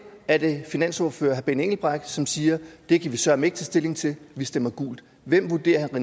er det finansordfører herre benny engelbrecht som siger det kan vi søreme ikke tage stilling til vi stemmer gult hvem vurderer herre